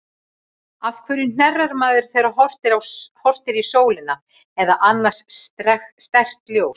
Af hverju hnerrar maður, þegar horft er í sólina, eða annað sterkt ljós?